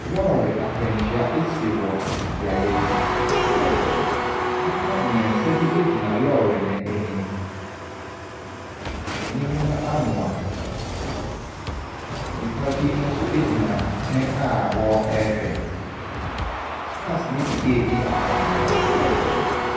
Lɔri akwanhyia ɛsi wɔ beaeɛ bi. Nipa mmiɛnsa bi gyina lɔri no ɛnim. Ɛnim no amoa. Nnipa bi nso egyina ɛnkyɛn a ɔrehwɛ. Cars no bi ɛredi akɔneaba.